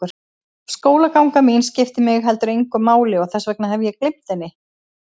Skólaganga mín skiptir mig heldur engu máli og þess vegna hef ég gleymt henni.